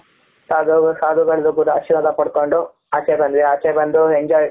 ಸಾಧು ಸಾಧುಗಳು ದು ಕೂಡ ಆಶೀರ್ವಾದ ಪಡ್ಕೊಂಡು.ಆಚೆ ಬಂದ್ವಿ ಆಚೆ ಬಂದು enjoy